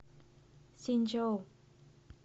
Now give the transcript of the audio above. цзиньчжоу